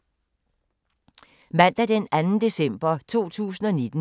Mandag d. 2. december 2019